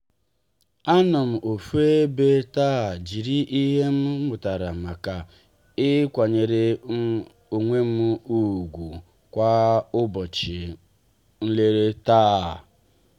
anom ofu ebe taa jiri ihe m mụtara maka ịkwanyere um onwem ugwu kwa ụbọchị mere ihe.